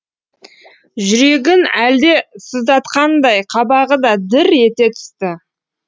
жүрегін әлдене сыздатқандай қабағы да дір ете түсті